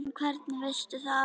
En hvernig veistu það?